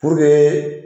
Puruke